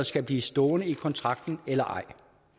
skal blive stående i kontrakten eller ej